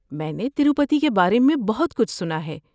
میں نے تروپتی کے بارے میں بہت کچھ سنا ہے۔